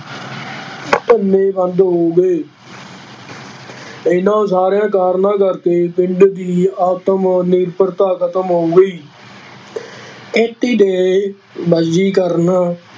ਧੰਦੇ ਬੰਦ ਹੋ ਗਏ ਇਹਨਾਂਂ ਸਾਰਿਆਂ ਕਾਰਨਾਂ ਕਰਕੇ ਪਿੰਡ ਦੀ ਆਤਮ ਨਿਰਭਰਤਾ ਖਤਮ ਹੋ ਗਈ ਖੇਤੀ ਦੇ ਬਦਲੀਕਰਨ